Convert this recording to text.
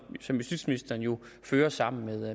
justitsministeren jo fører sammen